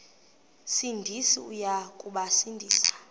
sindisi uya kubasindisa